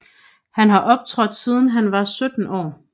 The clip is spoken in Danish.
Han har optrådt siden han var 17 år